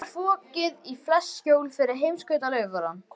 Nú var fokið í flest skjól fyrir heimskautafaranum.